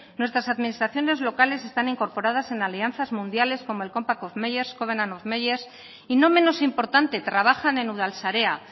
nuestras administraciones locales están incorporadas en alianzas mundiales como el compact of meyers covenant of meyers y no menos importante trabajan en udalsarea